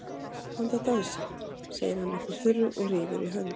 Komdu að dansa, segir hann upp úr þurru og rífur í hönd